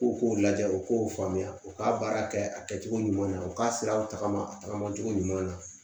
U k'u lajɛ u k'o faamuya u ka baara kɛ a kɛcogo ɲuman na u k'a siraw tagama a tagamacogo ɲuman na